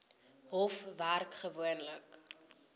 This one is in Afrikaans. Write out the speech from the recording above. hof werk gewoonlik